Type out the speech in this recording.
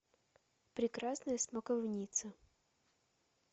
прекрасная смоковница